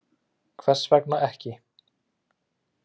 Hvers vegna ekki